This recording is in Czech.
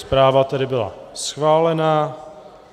Zpráva tedy byla schválena.